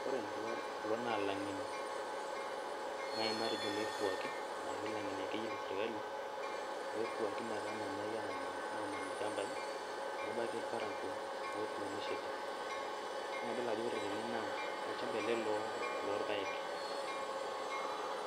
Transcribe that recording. Kore kulo naa lang'eni nai matejo loirriwuaki ashu lang'eni akeyie lesirkali, loirriwuaki metamanai aman ilchambai, nebaiki irparakuo otuunishote, naa idol ajo ore tene naa olchamba ele lo lorpaek.